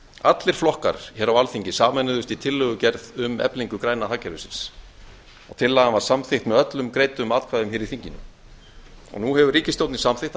allir flokkar hér á alþingi sameinuðust í tillögugerð um eflingu græna hagkerfisins tillagan var samþykkt með öllum greiddum atkvæðum hér í þinginu og nú hefur ríkisstjórnin samþykkt að